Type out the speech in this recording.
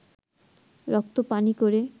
রক্ত পানি করে